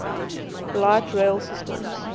light rail systems